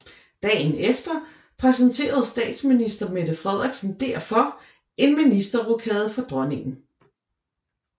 Dagen efter præsenterede statsminister Mette Frederiksen derfor en ministerrokade for Dronningen